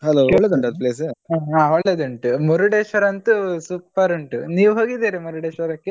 ಹಾ ಒಳ್ಳೆದುಂಟು ಮುರುಡೇಶ್ವರಂತು super ಉಂಟು ನೀವು ಹೋಗಿದ್ದೀರಾ ಮುರುಡೇಶ್ವರಕ್ಕೆ?